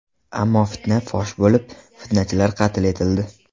Ammo fitna fosh bo‘lib, fitnachilar qatl etildi.